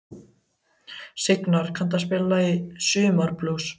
Signar, kanntu að spila lagið „Sumarblús“?